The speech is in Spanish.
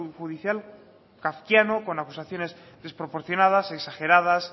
judicial kafkiano con acusaciones desproporcionadas exageradas